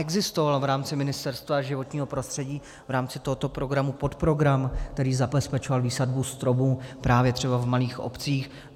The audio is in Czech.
Existoval v rámci Ministerstva životního prostředí, v rámci tohoto programu podprogram, který zabezpečoval výsadbu stromů právě třeba v malých obcích.